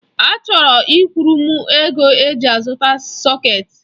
Achọrọ kwuru m ego eji azụta sọketi.